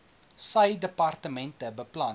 sy departement beplan